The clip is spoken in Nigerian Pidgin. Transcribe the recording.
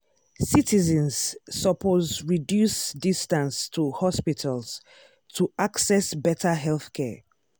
citizens suppose reduce distance to hospitals to access better healthcare.